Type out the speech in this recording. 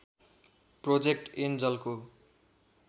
project एन्जलको